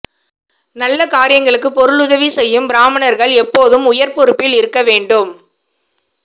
நல்ல காரியங்களுக்கு பொருளுதவி செய்யும் பிராமணர்கள் எப்போதும் உயர்பொறுப்பில் இருக்க வேண்டும்